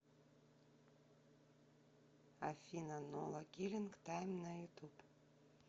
афина нола киллинг тайм на ютуб